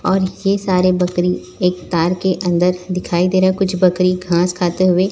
और ये सारी बकरी एक तार के अंदर दिखाई दे रहा है कुछ बकरी घास खाते हुए--